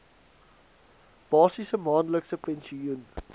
basiese maandelikse pensioen